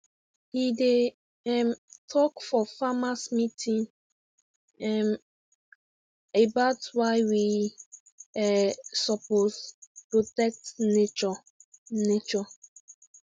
he dey um talk for farmers meeting um about why we um suppose protect nature nature